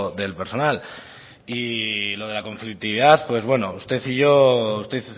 del personal y lo de la conflictividad pues bueno usted y yo usted